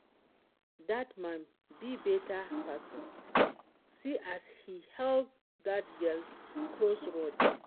Dat man be beta person, see as he help dat girl cross road